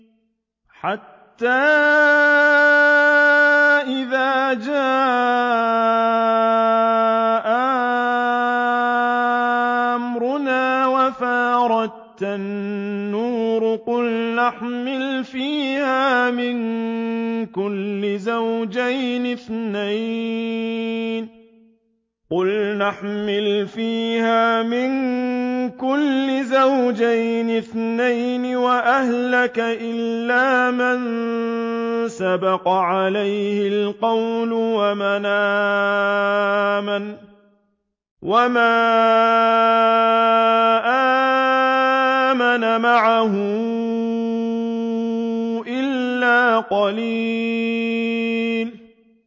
حَتَّىٰ إِذَا جَاءَ أَمْرُنَا وَفَارَ التَّنُّورُ قُلْنَا احْمِلْ فِيهَا مِن كُلٍّ زَوْجَيْنِ اثْنَيْنِ وَأَهْلَكَ إِلَّا مَن سَبَقَ عَلَيْهِ الْقَوْلُ وَمَنْ آمَنَ ۚ وَمَا آمَنَ مَعَهُ إِلَّا قَلِيلٌ